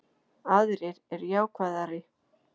Aðrir eru jákvæðari